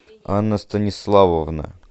анна станиславовна